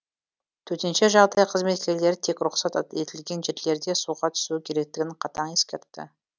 төтенше жағдай қызметкерлері тек рұқсат етілген жерделерде суға түсу керектігін қатаң ескертті